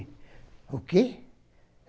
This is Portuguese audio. O quê?